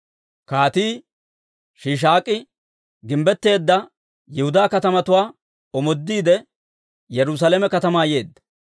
Kaatii Shiishaak'i gimbbetteedda Yihudaa katamatuwaa omoodiide, Yerusaalame katamaa yeedda.